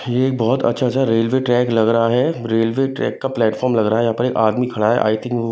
ये बहुत अच्छा स रेलवे ट्रैक लग रहा है रेलवे ट्रैक का प्लेटफार्म लग रहा है यहाँ पर एक आदमी खड़ा है आई थिंक वो--